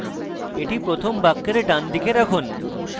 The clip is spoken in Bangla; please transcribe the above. এটি প্রথম বাক্যের ডান দিকে রাখুন